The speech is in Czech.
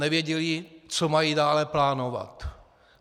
Nevěděli, co mají dále plánovat.